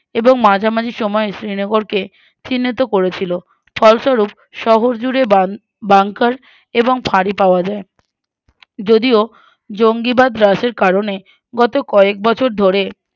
এবং মাঝামাঝি সময়ে শ্রীনগরকে চিন্থিত করেছিল ফলস্বরূপ শহর জুড়ে বান Bunkar এবং ফাঁড়ি পাওয়া যায়